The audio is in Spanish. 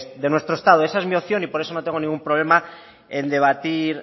de nuestro estado esa es mi opción y por eso no tengo ningún problema en debatir